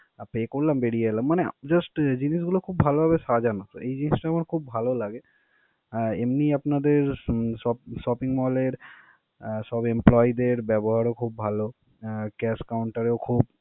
আর pay করলাম, বেরিয়ে এলাম. মানে just জিনিসগুলো খুব ভালোভাবে সাজানো, এই জিনিসটা আমার খুব লাগে. আহ এমনি আপনাদের উহ shop~ shopping mall এর আহ সব employee দের ব্যবহারও খুব ভালো. আহ cash counter এও খুব।